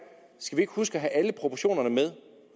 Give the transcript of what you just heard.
skal vi ikke huske at have alle proportionerne med